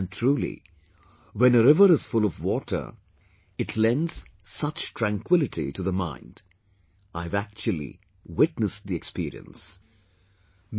And truly, when a river is full of water, it lends such tranquility to the mind...I have actually, witnessed the experience...